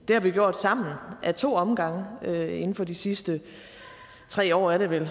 har vi gjort sammen ad to omgange inden for de sidste tre år er det vel